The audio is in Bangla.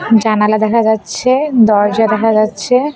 জানালা দেখা যাচ্ছে দরজা দেখা যাচ্ছে।